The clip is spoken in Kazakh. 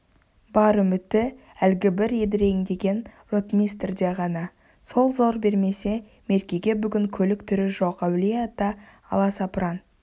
бар үміті әлгібір едіреңдеген ротмистрде ғана сол зор бермесе меркеге бүгін көлік түрі жоқ әулие-ата аласапыран